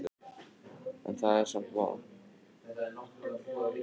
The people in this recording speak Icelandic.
En það er samt von.